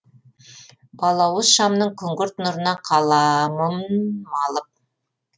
балауыз шамның күңгірт нұрына қаламын малып